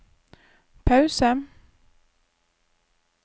pause